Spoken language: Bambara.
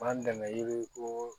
B'an dɛmɛ yiriko